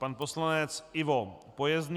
Pan poslanec Ivo Pojezný.